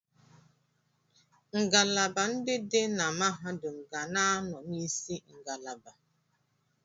Ngalaba ndị dị na mahadum ga na-anọ n'isi ngalaba.